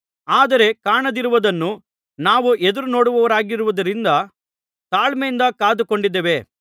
ಆದರೆ ಕಾಣದಿರುವುದನ್ನು ನಾವು ಎದುರುನೋಡುವವರಾಗಿರುವುದರಿಂದ ತಾಳ್ಮೆಯಿಂದ ಕಾದುಕೊಂಡಿದ್ದೇವೆ